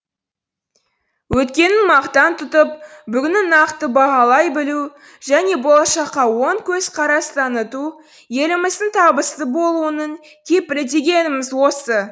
өткенін мақтан тұтып бүгінін нақты бағалайбілу және болашаққа оң көзқарас таныту еліміздіңтабысты болуының кепілі дегеніміз осы